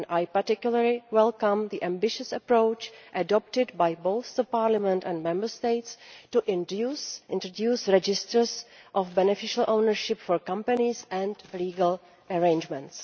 I particularly welcome the ambitious approach adopted by both Parliament and the Member States to introduce registers of beneficial ownership for companies and legal arrangements.